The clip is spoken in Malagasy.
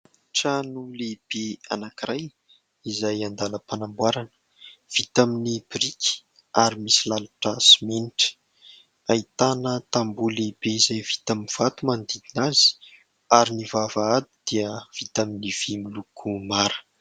Trano lehibe anakiray izay andalam-panamboarana, vita amin'ny biriky ary misy lalotra simenitra, ahitana tamboho lehibe izay vita amin'ny vato manodidina azy ary ny vavahady dia vita amin'ny vy miloko mara.